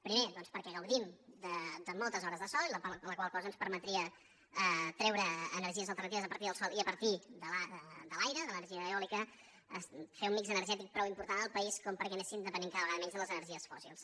primer doncs perquè gaudim de moltes hores de sol la qual cosa ens permetria treure energies alternatives a partir del sol i a partir de l’aire de l’energia eòlica fer un mixgètic prou important al país perquè anéssim depenent cada vegada menys de les energies fòssils